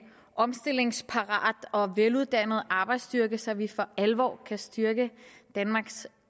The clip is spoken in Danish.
omstillingsparat og veluddannet arbejdsstyrke så vi for alvor kan styrke danmarks